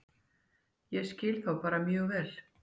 Ég skil þá bara mjög vel.